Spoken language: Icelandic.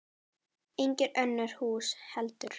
Engin önnur hús heldur.